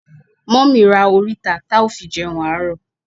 Mummy ra orita ti ao fi jeun aro